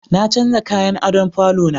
Na canja kayan adon falo na